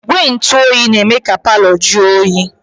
Igwe ntụoyi na-eme ka palọ jụọ oyi.